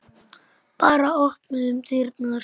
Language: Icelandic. Bara opnuðum dyrnar.